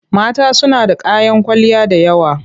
Mata suna da kayan kwalliya da yawa.